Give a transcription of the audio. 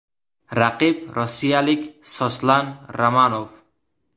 Raqib rossiyalik Soslan Ramonov.